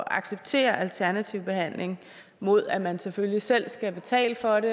at acceptere alternativ behandling mod at man selvfølgelig selv skal betale for det